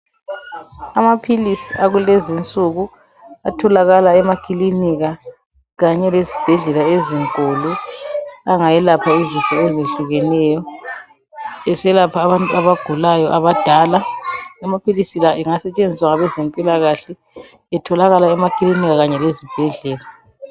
amaphilisi akulezinsuku atholakala emakilinika kanye lezibhedlela ezinkulu angayelapha izinto ezehlukeneyo eselapha abantu abagulayo abadala amaphilisi la engasetshenziswa ngabantu bezempilakahle etholakala emakilinika loba ezibhedlela